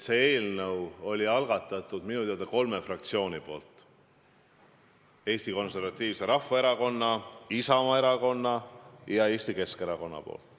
Selle eelnõu minu teada algatasid kolm fraktsiooni: Eesti Konservatiivne Rahvaerakond, Isamaa Erakond ja Eesti Keskerakond.